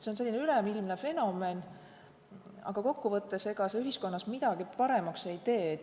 See on üleilmne fenomen, aga see kokkuvõttes ei tee ühiskonnas midagi paremaks.